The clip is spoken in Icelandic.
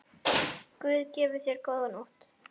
Guð gefi þér góða nótt.